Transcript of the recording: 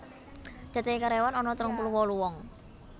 Cacahe karyawan ana telung puluh wolu wong